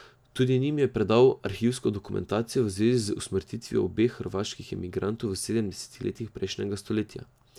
Tudi njim je predal arhivsko dokumentacijo v zvezi z usmrtitvijo dveh hrvaških emigrantov v sedemdesetih letih prejšnjega stoletja.